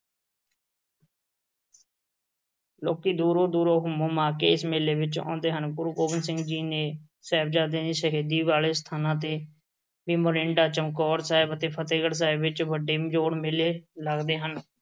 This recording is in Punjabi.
ਲੋਕੀਂ ਦੂਰੋਂ-ਦੂਰੋਂ ਹੁੰਮ-ਹੁਮਾ ਕੇ ਇਸ ਮੇਲੇ ਵਿੱਚ ਆਉਂਦੇ ਹਨ। ਗੁਰੂ ਗੋਬਿੰਦ ਸਿੰਘ ਜੀ ਦੇ ਸਾਹਿਬਜ਼ਾਦਿਆਂ ਦੀ ਸ਼ਹੀਦੀ ਵਾਲੇ ਸਥਾਨਾਂ ਤੇ ਅਤੇ ਮੋਰਿੰਡਾ, ਚਮਕੌਰ ਸਾਹਿਬ ਅਤੇ ਫ਼ਤਿਹਗੜ੍ਹ ਸਾਹਿਬ ਵਿੱਚ ਵੱਡੇ ਜੋੜ ਮੇਲੇ ਲੱਗਦੇ ਹਨ।